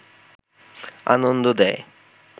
আনন্দ দেয়